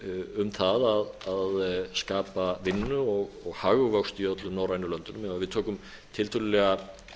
um það að skapa vinnu og hagvöxt í öllum norrænum löndum ef við tökum tiltölulega